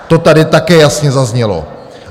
To tady také jasně zaznělo.